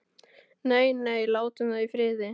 Nei, nei, látum þau í friði.